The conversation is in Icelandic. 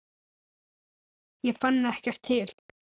Ég fann ekkert til.